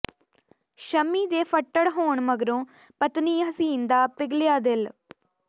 ਸ਼ਮੀ ਦੇ ਫੱਟੜ ਹੋਣ ਮਗਰੋਂ ਪਤਨੀ ਹਸੀਨ ਦਾ ਪਿਘਲਿਆ ਦਿਲ